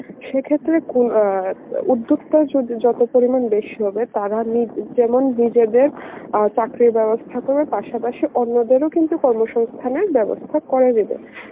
সে ক্ষেত্রে কুন~ অ্যাঁ উদ্যোগতা যদি যত পরিমান বেসি হবে তারা নিজ~ যেমন নিজেদের আ চাকরির বেবস্থা করবে পাসা পাসি অন্যদের ও কিন্তু কর্ম সংস্থানের বেবস্থা করে নেবে